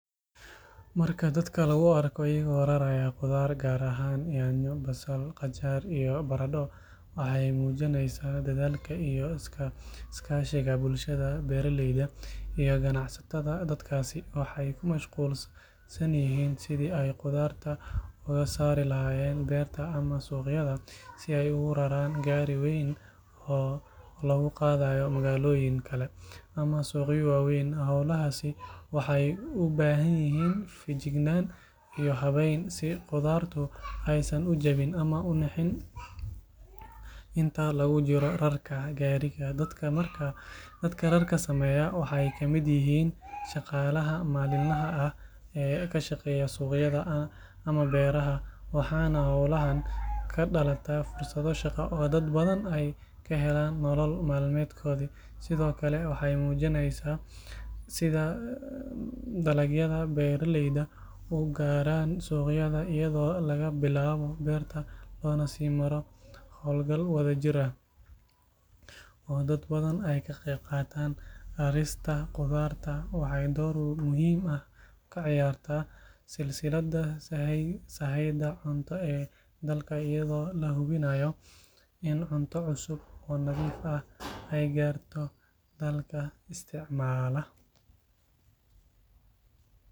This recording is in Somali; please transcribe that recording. Marka dadka lagu arko ayago raraya qudaar, waxeey mujineysa dadaalka beeraleyda, si aay ugu raran gaari weyn oo lagu qadayo suuq, si qudaar aay ujabin I inta lagu jiro rarka, shaqalaha maalin laha, waxaa kadalataa fursada shaqa, waxeey mujineysa sida dalaga ugaaran suuqa, loogu naro howl gal jirta ah, door muhiim ah kaciyarta silsida saheeyfa.